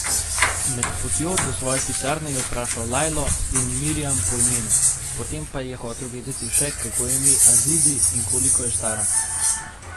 Med potjo do svoje pisarne je vprašal Lajlo in Marjam po imenu, potem pa je hotel vedeti še, kako je ime Azizi in koliko je stara.